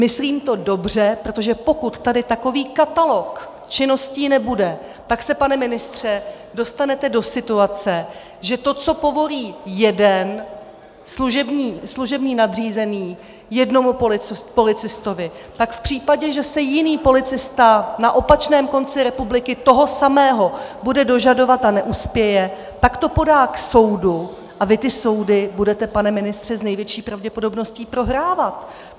Myslím to dobře, protože pokud tady takový katalog činností nebude, tak se, pane ministře, dostanete do situace, že to, co povolí jeden služební nadřízený jednomu policistovi, tak v případě, že se jiný policista na opačném konci republiky toho samého bude dožadovat a neuspěje, tak to podá k soudu a vy ty soudy budete, pane ministře, s největší pravděpodobností prohrávat.